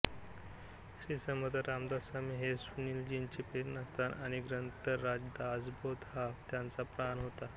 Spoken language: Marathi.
श्रीसमर्थ रामदासस्वामी हे सुनीलजींचे प्रेरणास्थान आणि ग्रंथराज दासबोध हा त्यांचा प्राण होता